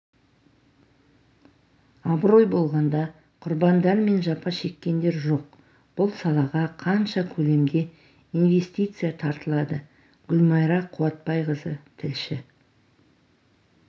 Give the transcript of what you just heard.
абырой болғанда құрбандар мен жапа шеккендер жоқ бұл салаға қанша көлемде инвестиция тартылады гүлмайра қуатбайқызы тілші